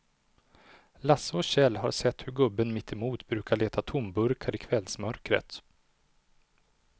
Lasse och Kjell har sett hur gubben mittemot brukar leta tomburkar i kvällsmörkret.